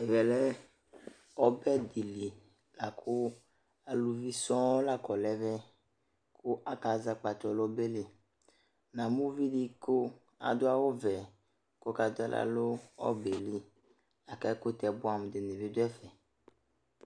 Ɛvɛ lɛ ɔbɛ dɩ li la kʋ aluvi sɔŋ la kɔ nʋ ɛmɛ kʋ akazɛ akpatsɔ nʋ ɔbɛ li Namʋ uvi dɩ kʋ adʋ awʋvɛ kʋ ɔkadʋ aɣla nʋ ɔbɛ yɛ li la kʋ ɛkʋtɛ bʋɛamʋ dɩnɩ bɩ dʋ ɛfɛ